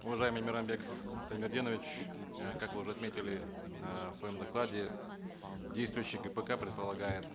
уважаемый мейрамбек штаймерденович э как вы уже отметили э в своем докладе действующий гпк предполагает